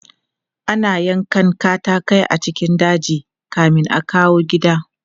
Ana yankan katatai a cikin daji kamin a kawo gida.